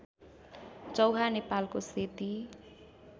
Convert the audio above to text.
चौहा नेपालको सेती